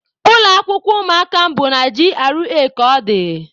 Ụlọ akwụkwọ ụmụaka m bụ na G.R.A ka ọ dị